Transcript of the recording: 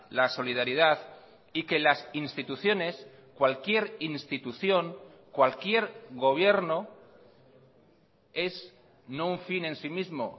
la solidaridad y que las instituciones cualquier institución cualquier gobierno es no un fin en sí mismo